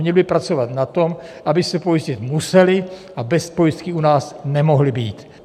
Měl by pracovat na tom, aby se pojistit museli a bez pojistky u nás nemohli být.